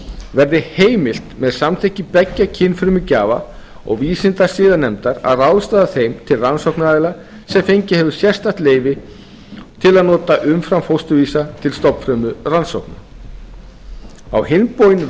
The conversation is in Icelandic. verði heimilt með samþykki tveggja kynfrumugjafa og vísindasiðanefndar að ráðstafa þeim til rannsóknaraðila sem fengið hefur sérstakt leyfi til að nota umframfósturvísa til stofnfrumurannsókna á hinn bóginn